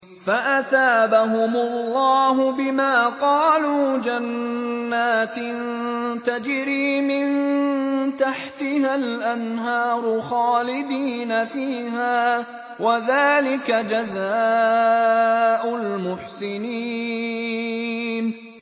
فَأَثَابَهُمُ اللَّهُ بِمَا قَالُوا جَنَّاتٍ تَجْرِي مِن تَحْتِهَا الْأَنْهَارُ خَالِدِينَ فِيهَا ۚ وَذَٰلِكَ جَزَاءُ الْمُحْسِنِينَ